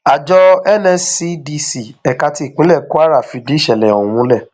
àjọ nscdc ẹka ti ìpínlẹ kwara fìdí ìṣẹlẹ ọhún múlẹ